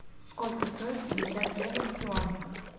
сколько стоит пятьдесят евро в юанях